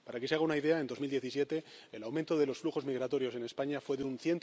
Para que se haga una idea, en 2017 el aumento de los flujos migratorios en España fue de un